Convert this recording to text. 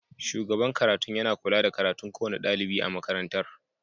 Shugaban karatun yana kula da karatun kowane dalibi a makarantar.